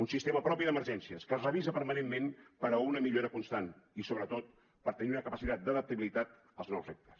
un sistema propi d’emergències que es revisa permanentment per a una millora constant i sobretot per tenir una capacitat d’adaptabilitat als nous reptes